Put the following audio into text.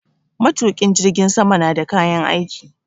Matukin jirgin sama na da kayan aiki.